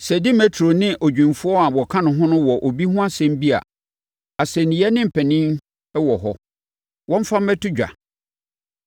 Sɛ Demetrio ne adwumfoɔ a wɔka ne ho no wɔ obi ho asɛm bi a, asɛnniiɛ ne mpanin wɔ hɔ, wɔmfa mmɛto dwa.